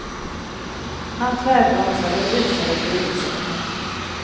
Han tvärbromsade och rusade till undsättning.